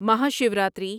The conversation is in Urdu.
مہاشیوراتری